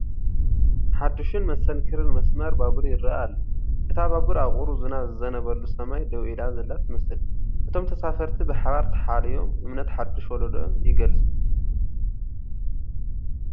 ሓድሽን መስተንክርን መስመር ባቡር ይርአ ኣሎ፤ እታ ባቡር ኣብ ቁሩብ ዝናብ ዝዘንበሉ ሰማይ ደው ኢላ ዘላ ትመስል። እቶም ተሳፈርቲ ብሓባር ተሓልዮም፡ እምነት ሓድሽ ወለዶ ይገልጹ።